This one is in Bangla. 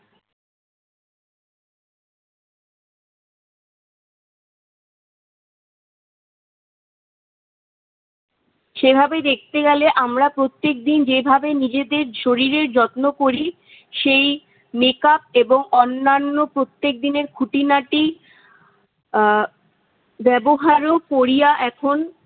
সেভাবে দেখতে গেলে আমরা প্রত্যেকদিন যেভাবে নিজেদের শরীরের যত্ন করি, সেই makeup এবং অন্যান্য প্রত্যেকদিনের খুটিনাটি আহ ব্যবহারও কোরিয়া এখন-